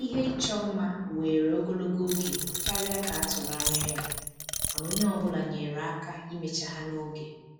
Ihe ịchọ mma were ogologo oge karịa ka a tụrụ anya ya, mana onye ọ bụla nyere aka imecha ha n'oge